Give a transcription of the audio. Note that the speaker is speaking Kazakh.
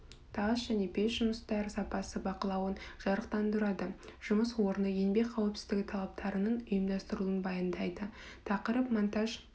тас және пеш жұмыстары сапасы бақылауын жарықтандырады жұмыс орны еңбек қауіпсіздігі талаптарының ұйымдастырылуын баяндайды тақырып монтаж